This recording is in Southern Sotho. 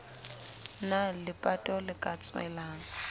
na lepato le ka tswelang